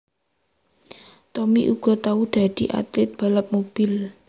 Tommy uga tau dadi atlit balap mobil